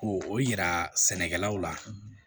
Ko o yira sɛnɛkɛlaw la